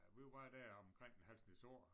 Ja vi var deromkring en halv snes år